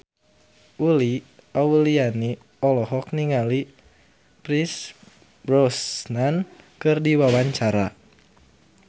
Uli Auliani olohok ningali Pierce Brosnan keur diwawancara